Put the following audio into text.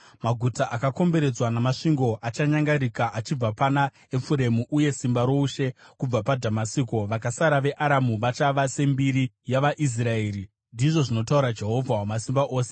Maguta akakomberedzwa namasvingo achanyangarika achibva pana Efuremu, uye simba roushe kubva paDhamasiko; vakasara veAramu vachava sembiri yavaIsraeri,” ndizvo zvinotaura Jehovha Wamasimba Ose.